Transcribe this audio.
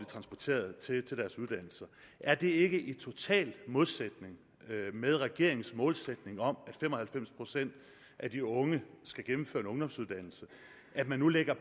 transporteret til deres uddannelser er det ikke i total modstrid med regeringens målsætning om at fem og halvfems procent af de unge skal gennemføre en ungdomsuddannelse at man nu lægger